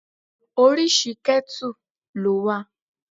Oríṣi ketu ló wà.